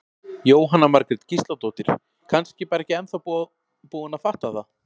Jóhanna Margrét Gísladóttir: Kannski bara ekki ennþá búin að fatta það?